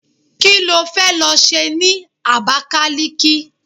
Kí ló fẹ́ lọ ṣe ní Abakaliki?